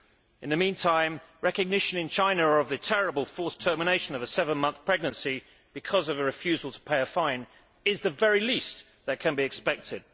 In the meantime, recognition in China of the terrible forced termination of a seven month pregnancy because of a refusal to pay a fine, is the very least that can be expected.